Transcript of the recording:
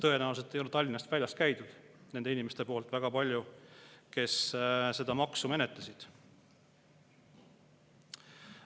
Tõenäoliselt ei ole Tallinnast väljas väga palju käinud need inimesed, kes seda maksu menetlesid.